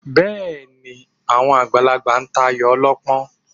Bẹ́ẹ̀ ni, àwọn àgbàlagbà tayò ọlọ́pọ́n